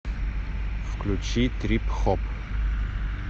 включи трип хоп